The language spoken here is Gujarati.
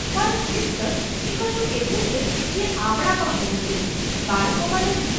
પણ શિસ્ત એ કશુંક એવું છે જે આપણામાં હોવું જોઈએ, બાળકોમાં નહીં.